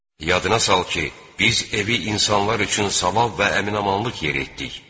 Yadına sal ki, biz evi insanlar üçün savab və əmin-amanlıq yeri etdik.